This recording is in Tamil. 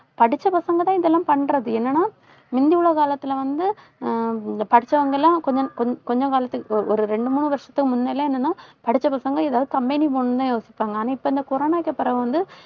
படிச்ச பசங்க தான் இதெல்லாம் பண்றது. என்னன்னா முந்தி உள்ள காலத்துல வந்து அஹ் படிச்சவங்க எல்லாம் கொஞ்~ கொஞ்ச கொஞ்ச காலத்துக்கு ஒரு ரெண்டு, மூணு வருஷத்துக்கு முன்னால என்னன்னா படிச்ச பசங்க ஏதாவது company போகணும்ன்னுதான் யோசிப்பாங்க. ஆனா, இப்ப இந்த கொரோனாக்கு பிறகு வந்து,